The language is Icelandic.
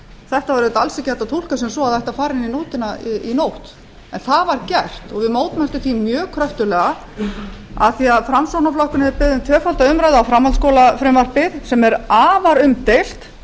þetta er auðvitað alls ekki hægt að túlka sem svo að það ætti að fara inn í nóttina en það var gert og við mótmæltum því mjög kröftuglega af því að framsóknarflokkurinn hefur beðið um tvöfalda umræðu um framhaldsskólafrumvarpið sem er afar umdeilt